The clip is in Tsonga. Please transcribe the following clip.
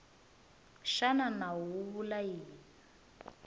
xana nawu wu vula yini